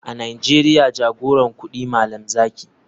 A nigeria jagoran kudi malam zaki.